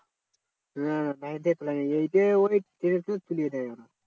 হম nine থেকে তোলায় না ওই যে ওই seven থেকে তুলিয়ে দেয় ওরা।